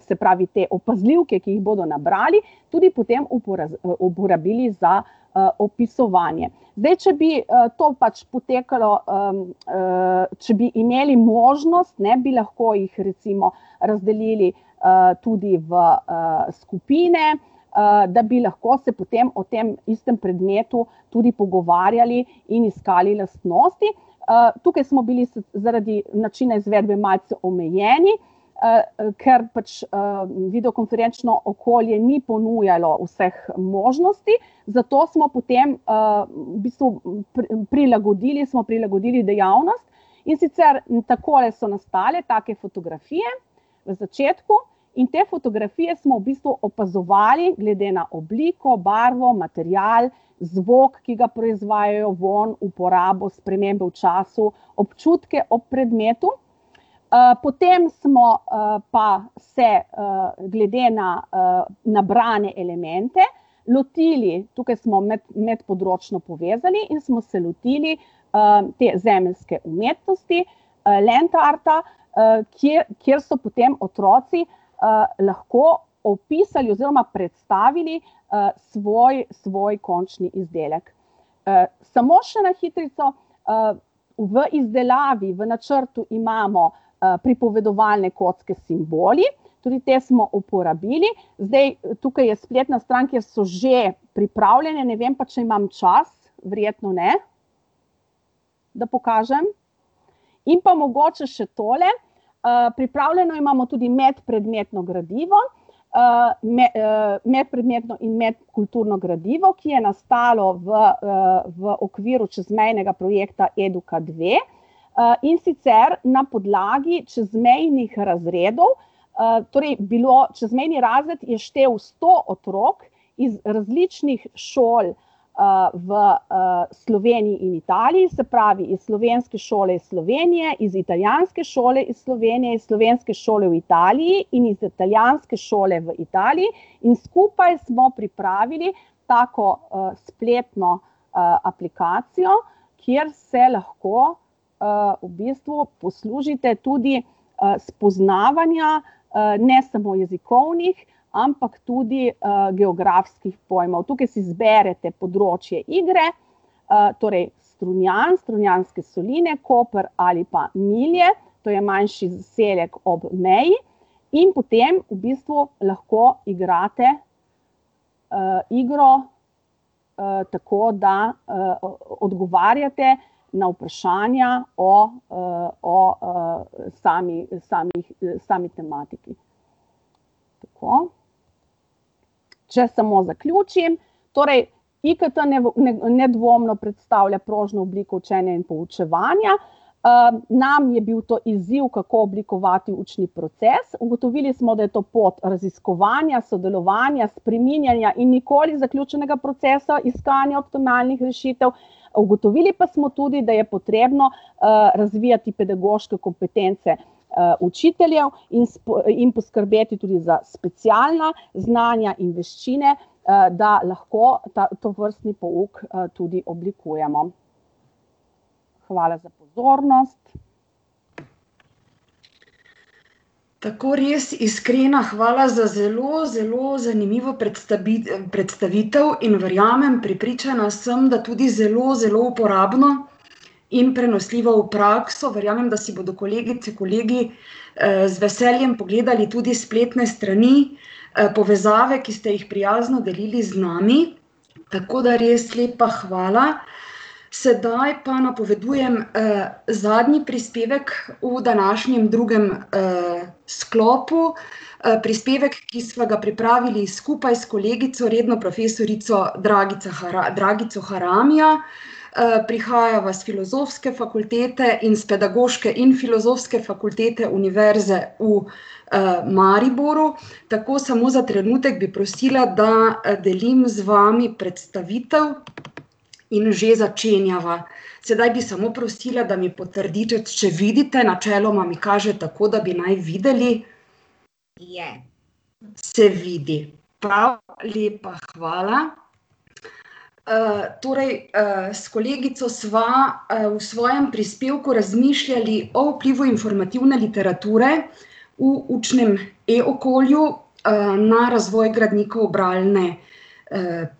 se pravi, te opazljivke, ki jih bodo nabrali, tudi potem uporabili za, opisovanje. Zdaj če bi, to pač potekalo, če bi imeli možnost, ne, bi lahko jih recimo razdelili, tudi v, skupine, da bi lahko se potem o tem istem predmetu tudi pogovarjali in iskali lastnosti. tukaj smo bili zaradi načina izvedbe malce omejeni, ker pač, videokonferenčno okolje ni ponujalo vseh možnosti. Zato smo potem, v bistvu prilagodili, smo prilagodili dejavnost, in sicer tako, ali so nastale take fotografije na začetku, in te fotografije smo v bistvu opazovali glede na obliko, barvo, material, zvok, ki ga proizvajajo, vonj, uporabo, spremembo v času, občutke ob predmetu. potem smo, pa se, glede na, nabrane elemente lotili, tukaj smo medpodročno povezali in smo se lotili, te zemeljske umetnosti, land arta, kjer so potem otroci, lahko opisali oziroma predstavili, svoj, svoj končni izdelek. samo še na hitrico, v izdelavi, v načrtu imamo, pripovedovalne kocke s simboli, tudi te smo uporabili. Zdaj tukaj je spletna stran, kjer so že pripravljene, ne vem pa, če imam čas, verjetno ne, da pokažem. In pa mogoče še tole, pripravljeno imamo tudi medpredmetno gradivo, medpredmetno in medkulturno gradivo, ki je nastalo v, v okviru čezmejnega projekta Eduka dve, in sicer na podlagi čezmejnih razredov, torej bilo ... Čezmejni razred je štel sto otrok iz različnih šol, v, Sloveniji in Italiji, se pravi iz slovenske šole iz Slovenije, iz italijanske šole iz Slovenije, slovenske šole v Italiji in z italijanske šole v Italiji, in skupaj smo pripravili tako, spletno, aplikacijo, kjer se lahko, v bistvu poslužite tudi, spoznavanja, ne samo jezikovnih, ampak tudi, geografskih pojmov, tukaj si zberete področje igre. torej Strunjan, Strunjanske soline, Koper ali pa Milje, to je manjši zaselek ob meji, in potem v bistvu lahko igrate, igro, tako, da, odgovarjate na vprašanja o, o, sami, samih, sami tematiki. Tako. Če samo zaključim, torej IKT nedvomno predstavlja prožno obliko učenja in poučevanja, nam je bil to izziv, kako oblikovati učni proces, ugotovili smo, da je to pot raziskovanja, sodelovanja, spreminjanja in nikoli zaključenega procesa iskanja optimalnih rešitev, ugotovili pa smo tudi, da je potrebno, razvijati pedagoške kompetence, učiteljev in in poskrbeti tudi za specialna znanja in veščine, da lahko ta tovrstni pouk tudi oblikujemo. Hvala za pozornost. Tako, res iskrena hvala za zelo, zelo zanimivo predstavitev in verjamem, prepričana sem, da tudi zelo zelo uporabno in prenosljivo v prakso, verjamem, da si bodo kolegice, kolegi, z veseljem pogledali tudi spletne strani, povezave, ki ste jih prijazno delili z nami. Tako da res lepa hvala. Sedaj pa napovedujem, zadnji prispevek v današnjem drugem, sklopu, prispevek, ki sva ga pripravili skupaj s kolegico, redno profesorico Dragica Dragico Haramija. prihajava s Filozofske fakultete in s Pedagoške in Filozofske fakultete Univerze v, Mariboru. Tako, samo za trenutek bi prosila, da, delim z vami predstavitev. In že začenjava. Sedaj bi samo prosila, da mi potrdite, če vidite, načeloma mi kaže tako, da bi naj videli. Je. Se vidi. Prav, lepa hvala. torej, s kolegico sva, v svojem prispevku razmišljali o vplivu informativne literature v učnem e-okolju, na razvoj gradnikov bralne,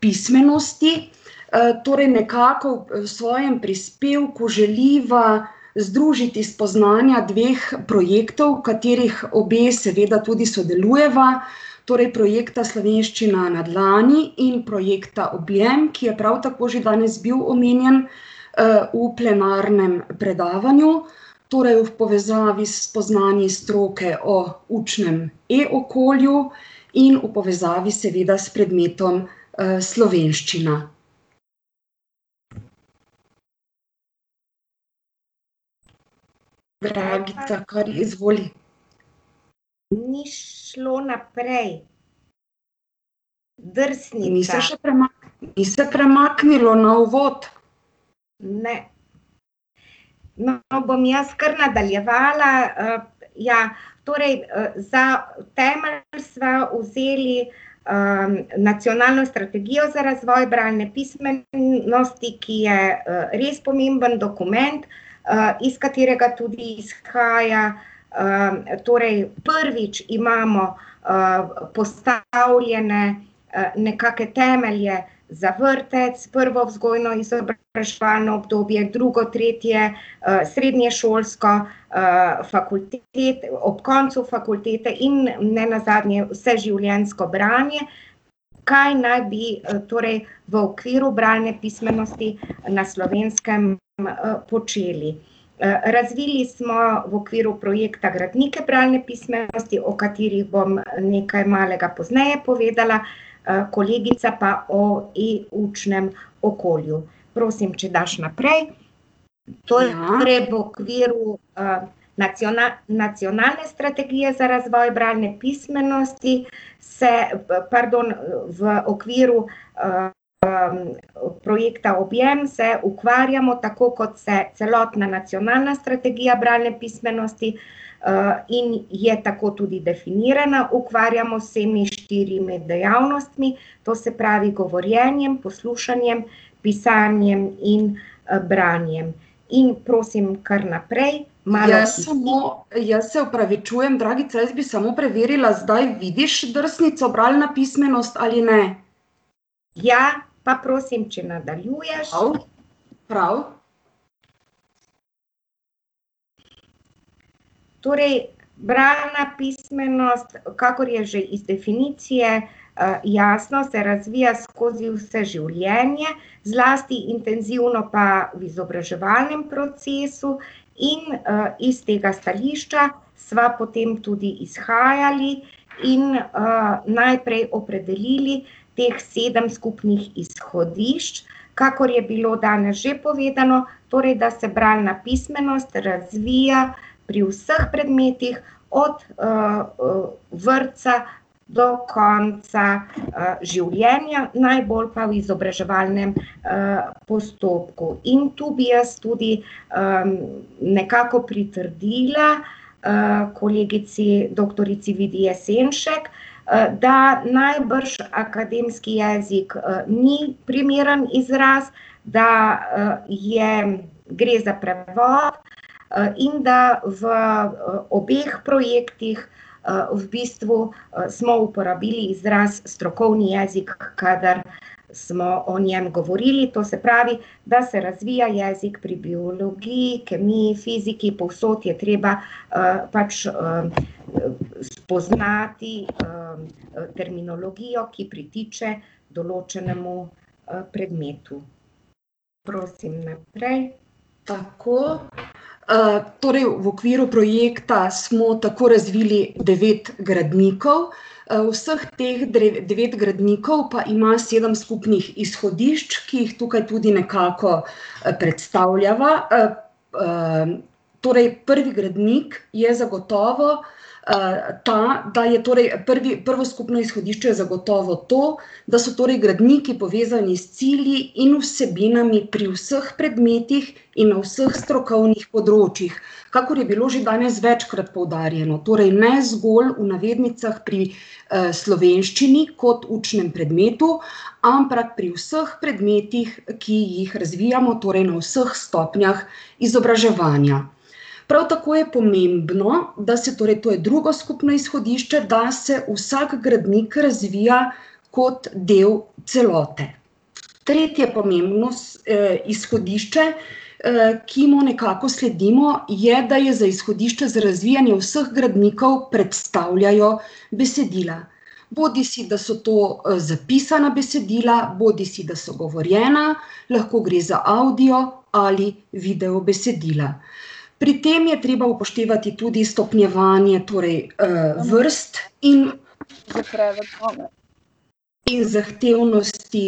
pismenosti. torej nekako v svojem prispevku želiva združiti spoznanja dveh projektov, v katerih obe seveda tudi sodelujeva, torej projekta Slovenščina na dlani in projekta Objem, ki je prav tako že danes bil omenjen, v plenarnem predavanju. Torej v povezavi s spoznanji stroke o učnem e-okolju in v povezavi seveda s predmetom, slovenščina. Dragica, kar izvoli. Ni šlo naprej. Drsnica. Ni se še Ni se premaknilo na Uvod? No, bom jaz kar nadaljevala, ja. Torej, za temelj sva vzeli, Nacionalno strategijo za razvoj bralne pismenosti, ki je, res pomemben dokument, iz katerega tudi izhaja ... torej prvič imamo, postavljene, nekake temelje za vrtec, prvo vzgojno-izobraževalno obdobje, drugo, tretje, srednješolsko, ob koncu fakultete in nenazadnje vseživljenjsko branje. Kaj naj bi, torej v okviru bralne pismenosti na Slovenskem počeli. razvili smo v okviru projekta gradnike bralne pismenosti, o katerih bom, nekaj malega pozneje povedala, kolegica pa o e-učnem okolju. Prosim, če daš naprej. To gre v okviru, Nacionalne strategije za razvoj bralne pismenosti, pardon, v okviru, projekta Objem se ukvarjamo, tako kot se celotna Nacionalna strategija bralne pismenosti, in je tako tudi definirana, ukvarjamo z vsemi štirimi dejavnostmi, to se pravi, govorjenjem, poslušanjem, pisanjem in, branjem. In prosim kar naprej. Malo smo ... Jaz samo ... Jaz se opravičujem, Dragica, jaz bi samo preverila, zdaj vidiš drsnico Bralna pismenost ali ne? Ja. Pa prosim, če nadaljuješ. Prav. Prav. Torej bralna pismenost, kakor je že iz definicije, jasno, se razvija skozi vse življenje, zlasti intenzivno pa v izobraževalnem procesu in, iz tega stališča sva potem tudi izhajali in, najprej opredelili teh sedem skupnih izhodišč, kakor je bilo danes že povedano. Torej da se bralna pismenost razvija pri vseh predmetih, od, vrtca do konca, življenja, najbolj pa v izobraževalnem, postopku. In to bi jaz tudi, nekako pritrdila, kolegici doktorici Vidi Jesenšek, da najbrž akademski jezik ni primerno izraz da, je, gre za prevod, in da v, obeh projektih, v bistvu smo uporabili izraz strokovni jezik, kadar smo o njem govorili, to se pravi, da se razvija jezik pri biologiji, kemiji, fiziki, povsod je treba, pač, spoznati, terminologijo, ki pritiče določenemu, predmetu. Prosim, naprej. Tako. torej v okviru projekta smo tako razvili devet gradnikov. vseh teh devet gradnikov pa ima sedem skupnih izhodišč, ki jih tukaj tudi nekako, predstavljava, torej prvi gradnik je zagotovo, ta, da je torej prvi, prvo skupno izhodišče zagotovo to, da so torej gradniki povezani s cilji in vsebinami pri vseh predmetih in na vseh strokovnih področjih, kakor je bilo že danes večkrat poudarjeno, torej ne zgolj v navednicah pri, slovenščini kot učnem predmetu, ampak pri vseh predmetih, ki jih razvijamo, torej na vseh stopnjah izobraževanja. Prav tako je pomembno, da se ... torej to je drugo skupno izhodišče da, se vsak gradnik razvija kot del celote. Tretje pomembno, izhodišče, ki mu nekako sledimo, je, da je za izhodišče za razvijanje vseh gradnikov predstavljajo besedila. Bodisi da so to, zapisana besedila bodisi da so govorjena, lahko gre za avdio ali video besedila. Pri tem je treba upoštevati tudi stopnjevanje torej, vrst in ... In zahtevnosti,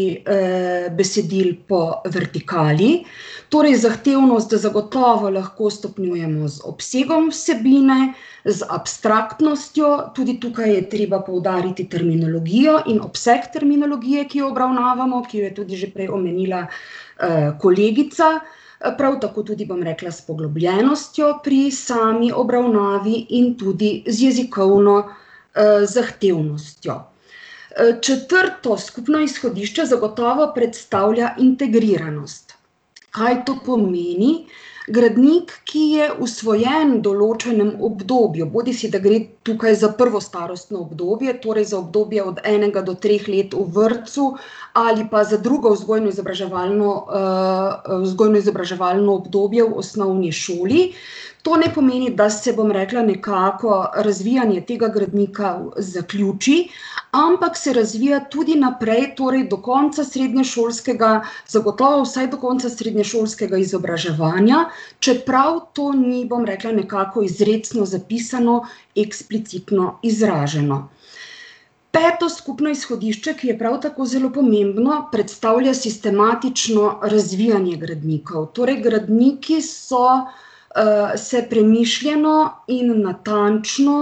besedil po vertikali, torej zahtevnost zagotovo lahko stopnjujemo z obsegom vsebine, z abstraktnostjo, tudi tukaj je treba poudariti terminologijo in obseg terminologije, ki jo obravnavamo, ki jo je tudi že prej omenila, kolegica. prav tako, tudi bom rekla, s poglobljenostjo pri sami obravnavi in tudi z jezikovno, zahtevnostjo. četrto skupno izhodišče zagotovo predstavlja integriranost. Kaj to pomeni? Gradnik, ki je usvojen v določenem obdobju, bodisi da gre tukaj za prvo starostno obdobje, torej za obdobje od enega do treh let v vrtcu ali pa za drugo vzgojno-izobraževalno, vzgojno-izobraževalno obdobje v osnovni šoli, to ne pomeni, da se, bom rekla, nekako, razvijanje tega gradnika zaključi, ampak se razvija tudi naprej, torej do konca srednješolskega, zagotovo vsaj do srednješolskega izobraževanja, čeprav to ni, bom rekla, nekako izrecno zapisano, eksplicitno izraženo. Peto skupno izhodišče, ki je prav tako zelo pomembno, predstavlja sistematično razvijanje gradnikov, torej gradniki so, se premišljeno in natančno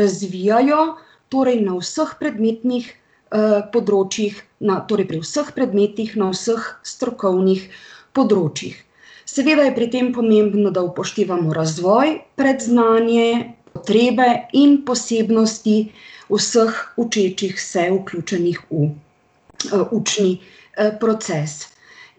razvijajo, torej na vseh predmetnih, področjih torej pri vseh predmetih na vseh strokovnih področjih. Seveda je pri tem pomembno, da upoštevamo razvoj, predznanje, potrebe in posebnosti vseh učečih se, vključenih v, učni, proces.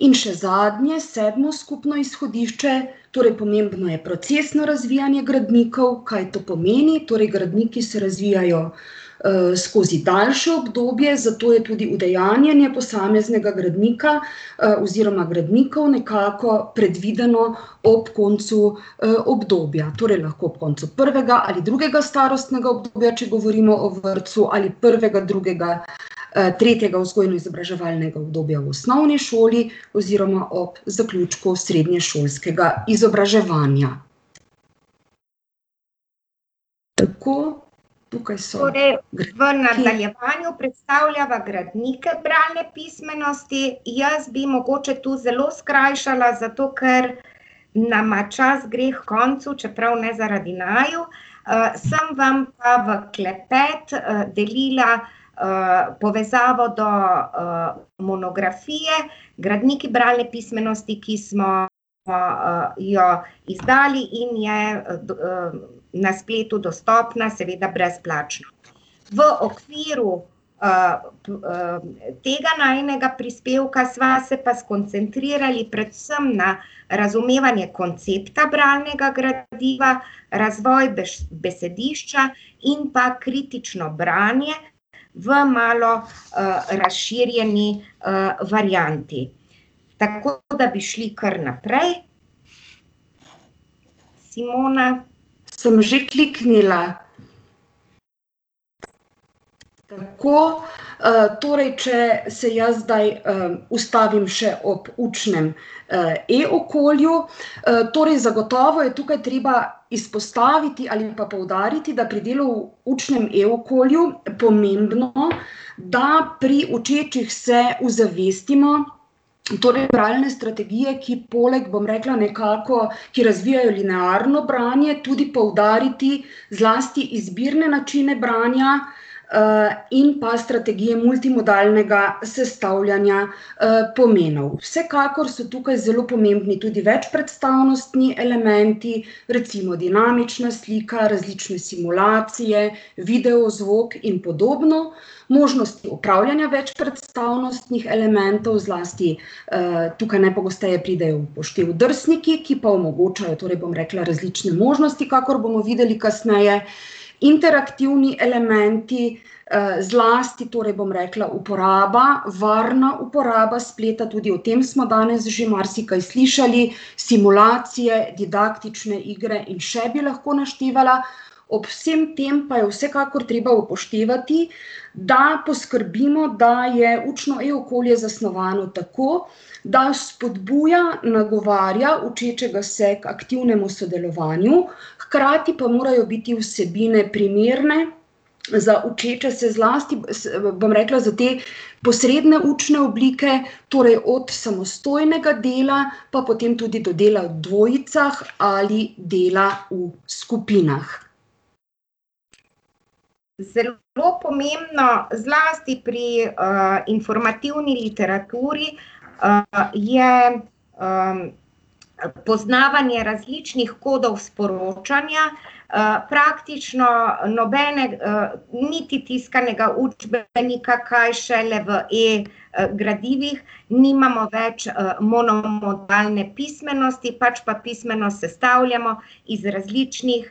In še zadnje, sedmo skupno izhodišče: torej pomembno je procesno razvijanje gradnikov, kaj to pomeni? Torej gradniki se razvijajo, skozi daljše obdobje, zato je tudi udejanjanje posameznega gradnika, oziroma gradnikov nekako predvideno ob koncu, obdobja, torej lahko ob koncu prvega ali drugega starostnega obdobja, če govorimo o vrtcu, ali prvega, drugega, tretjega vzgojno-izobraževalnega obdobja v osnovni šoli oziroma ob zaključku srednješolskega izobraževanja. Tako. Tukaj so ... Torej v nadaljevanju predstavljava gradnike bralne pismenosti. Jaz bi mogoče tu zelo skrajšala, zato ker nama čas gre h koncu, čeprav ne zaradi naju. sem vam pa v klepet, delila, povezavo do, monografije Gradniki bralne pismenosti, ki smo pa, jo izdali in je na spletu dostopna, seveda brezplačno. V okviru, tega najinega prispevka sva se pa skoncentrirali predvsem na razumevanje koncepta bralnega gradiva, razvoj besedišča in pa kritično branje v malo, razširjeni, varianti. Tako da bi šli kar naprej. Simona. Sem že kliknila. Tako, torej če se jaz zdaj, ustavim še ob učnem, e-okolju, torej zagotovo je tukaj treba izpostaviti ali pa poudariti, da pri delu v učnem e-okolju pomembno, da pri učečih se uzavestimo torej bralne strategije, ki poleg, bom rekla nekako, ki razbijajo linearno branje, tudi poudariti zlasti izbirne načine branja, in pa strategije multimodalnega sestavljanja, pomenov. Vsekakor so tukaj zelo pomembni večpredstavnostni elementi, recimo dinamična slika, različne simulacije, video, zvok in podobno, možnost upravljanja večpredstavnostnih elementov, zlasti, tukaj najpogosteje pridejo v poštev drsniki, ki pa omogočajo, torej bom rekla, različne možnosti, kakor bomo videli kasneje, interaktivni elementi, zlasti torej bom rekla uporaba, varna uporaba spleta, tudi o tem smo danes že marsikaj slišali, simulacije, didaktične igre in še bi lahko naštevala, ob vsem tem pa je vsekakor treba upoštevati, da poskrbimo, da je učno e-okolje zasnovano tako, da spodbuja, nagovarja učečega se k aktivnemu sodelovanju, hkrati pa morajo biti vsebine primerne za učeče se, zlasti bom rekla, za te posredne učne oblike, torej od samostojnega dela, pa potem tudi do dela v dvojicah ali dela v skupinah. Zelo pomembno, zlasti pri, informativni literaturi, je, poznavanje različnih kodov sporočanja. praktično nobene, niti tiskanega učbenika, kaj šele v e-gradivih, nimamo več, monomodalne pismenosti, pač pa pismenost sestavljamo iz različnih,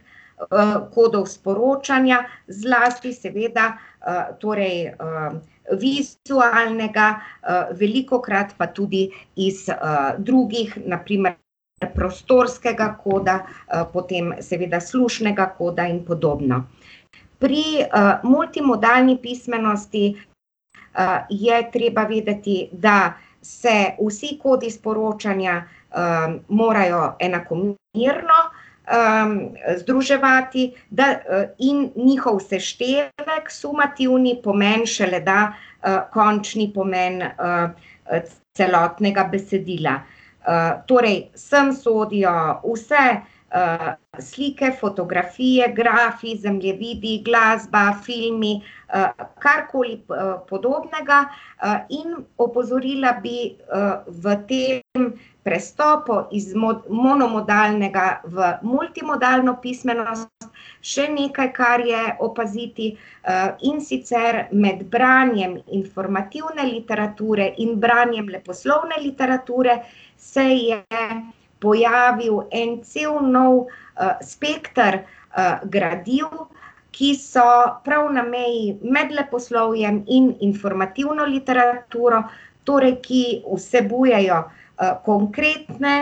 kodov sporočanja, zlasti seveda, torej, vizualnega, velikokrat pa tudi iz, drugih, na primer prostorskega koda, potem seveda slušnega koda in podobno. Pri, multimodalni pismenosti, je treba vedeti, da se vsi kodi sporočanja, morajo enakomerno, združevati, da, in njihov seštevek, sumativni pomen, šele da, končni pomen, celotnega besedila. torej sem sodijo vse, slike, fotografije, grafi, zemljevidi, glasba, filmi, karkoli podobnega. in opozorila bi, v tem prestopu iz monomodalnega v multimodalno pismenost še nekaj, kar je opaziti, in sicer med branjem informativne literature in branjem leposlovne literature se je pojavil en cel nov, spekter, gradiv, ki so prav na meji med leposlovjem in informativno literaturo, torej ki vsebujejo, konkretne,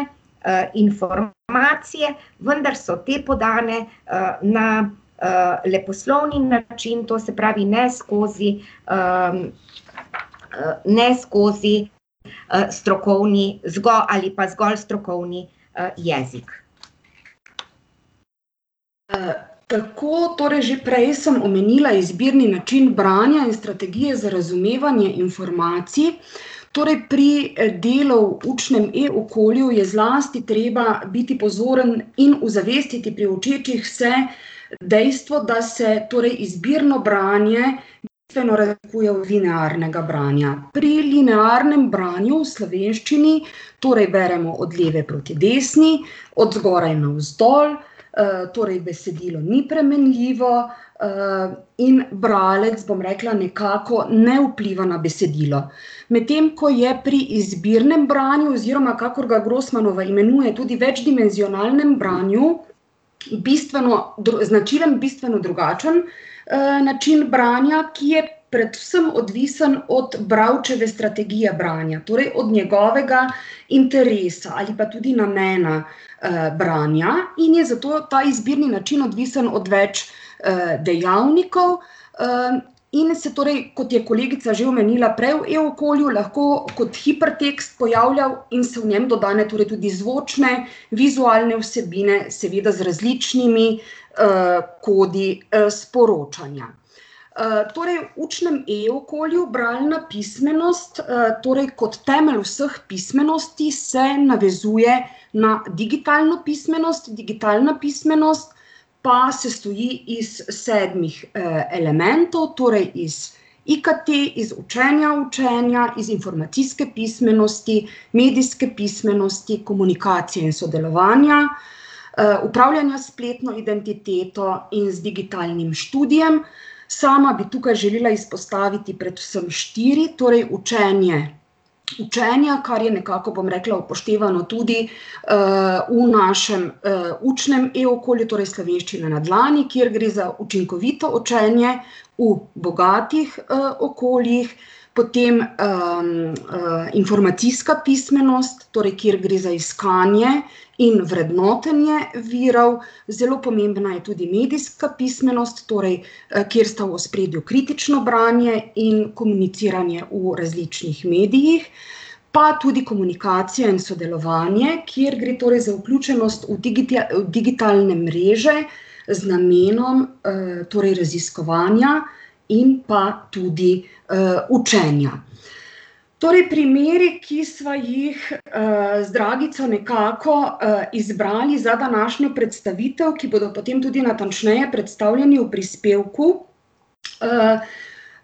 informacije, vendar so te podane, na, leposlovni način, to se pravi, ne skozi, ne skozi, strokovni ali pa zgolj strokovni, jezik. tako, torej že prej sem omenila izbirni način branja in strategije za razumevanje informacij. Torej pri delu v učnem e-okolju je zlasti treba biti pozoren in uzavestiti pri učečih se dejstvo, da se torej izbirno branje razlikuje od linearnega branja. Pri linearnem branju v slovenščini torej beremo od leve proti desni, od zgoraj navzdol, torej besedilo ni premenljivo, in bralec, bom rekla, nekako ne vpliva na besedilo. Medtem ko je pri izbirnem branju oziroma, kakor ga Grosmanova imenuje, tudi večdimenzionalnem branju bistveno značilen bistveno drugačen, način branja, ki je predvsem odvisen od bralčeve strategije branja, torej od njegovega interesa ali pa tudi namena, branja in je zato ta izbirni način odvisno od več, dejavnikov, in se torej, kot je kolegica že omenila, prej v e-okolju lahko kot hipertekst pojavlja in so v njem dodane torej tudi zvočne, vizualne vsebine, seveda z različnimi, kodi, sporočanja. torej v učnem e-okolju bralna pismenost, torej kot temelj vseh pismenosti se navezuje na digitalno pismenost, digitalna pismenost pa sestoji iz sedmih, elementov, torej iz IKT, iz učenja učenja, iz informacijske pismenosti, medijske pismenosti, komunikacije in sodelovanja, upravljanja s spletno identiteto in z digitalnim študijem. Sama bi tukaj želela izpostaviti predvsem štiri, torej učenje učenja, kar je nekako, bom rekla, upoštevano tudi, v našem, učnem e-okolju, torej Slovenščina na dlani, kjer gre za učinkovito učenje v bogatih, okoljih. Potem, informacijska pismenost, torej kjer gre za iskanje in vrednotenje virov, zelo pomembna je tudi medijska pismenost, torej, kjer sta v ospredju kritično branje in komuniciranje v različnih medijih, pa tudi komunikacija in sodelovanje, kjer gre torej za vključenost v v digitalne mreže z namenom, torej raziskovanja in pa tudi, učenja. Torej primeri, ki sva jih, z Dragico nekako, izbrali za današnjo predstavitev, ki bodo potem tudi natančneje predstavljeni v prispevku,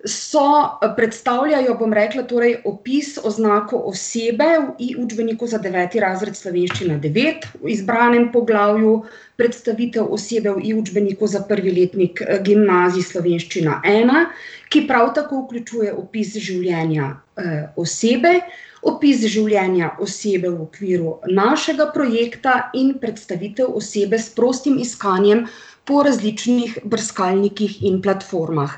so, predstavljajo, bom rekla, torej opis, oznako osebe v i-učbeniku za deveti razred Slovenščina devet v izbranem poglavju, predstavitev osebe v i-učbeniku za prvi letnik, gimnazij, Slovenščina ena, ki prav tako vključuje opis življenja, osebe, opis življenja osebe v okviru našega projekta in predstavitev osebe s prostim iskanjem po različnih brskalnikih in platformah.